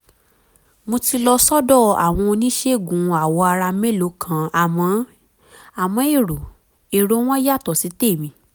mo ti lọ sọ́dọ̀ àwọn oníṣègùn awọ ara mélòó kan àmọ́ èrò èrò wọn yàtọ̀ sí tèmi